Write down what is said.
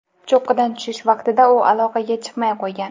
Cho‘qqidan tushish vaqtida u aloqaga chiqmay qo‘ygan.